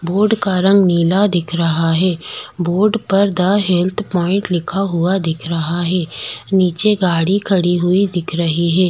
Board का रंग नीला दिख रहा है बोर्ड पर द हैल्थ पॉइन्ट लिखा हुआ दिख रहा है निचे गाड़ी खड़ी हुयी दिख रही है।